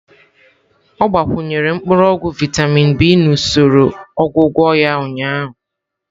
Ọ gbakwunyere mkpuru ogwu vịatamin B na usoro ọgwụgwọ ya ụnyaahụ.